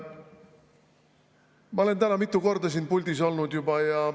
Ma olen täna juba mitu korda siin puldis olnud.